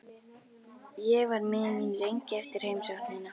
Ég var miður mín lengi eftir heimsóknina.